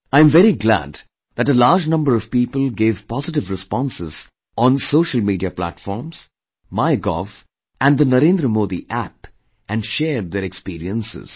I am very glad that a large number of people gave positive responses on social media platform, MyGov and the Narendra Modi App and shared their experiences